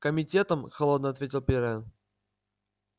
комитетом холодно ответил пиренн